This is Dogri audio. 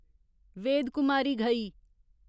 वेद कुमारी घई